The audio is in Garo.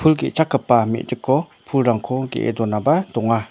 pul ge·chakgipa mediko pulrangko ge·e donaba donga.